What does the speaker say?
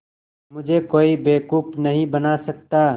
मुझे कोई बेवकूफ़ नहीं बना सकता